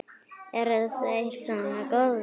Eru þeir svona góðir?